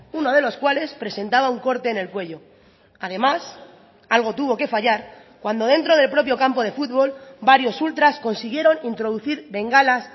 uno de los cuales presentaba un corte en el cuello además algo tuvo que fallar cuando dentro del propio campo de fútbol varios ultras consiguieron introducir bengalas